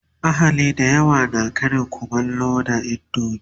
ahali da yawa na Karin kumallo da indomie